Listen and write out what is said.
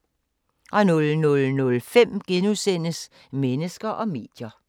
00:05: Mennesker og medier *